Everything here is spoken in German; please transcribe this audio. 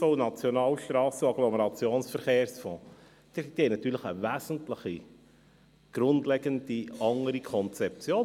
Diese haben natürlich eine grundlegend andere Konzeption.